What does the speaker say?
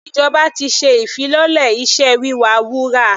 Ìjọba ti ṣe ìfilọ́lẹ̀ iṣẹ́ wíwa wúrà.